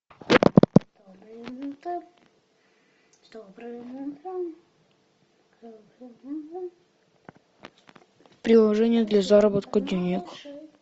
приложение для заработка денег